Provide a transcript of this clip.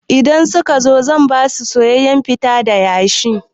Idan suka zo zan basu soyayyan fita da shayi.